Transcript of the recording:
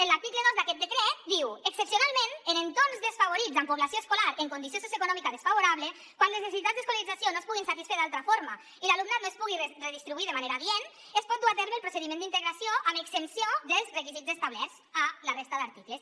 en l’article dos d’aquest decret hi diu excepcionalment en entorns desfavorits amb població escolar en condició socioeconòmica desfavorable quan les necessitats d’escolarització no es puguin satisfer d’altra forma i l’alumnat no es pugui redistribuir de manera adient es pot dur a terme el procediment d’integració amb exempció dels requisits establerts a la resta d’articles